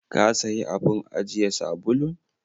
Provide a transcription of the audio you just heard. Ka sayi abun ajiye sabulun?